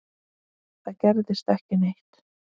Það gerðist ekki neitt.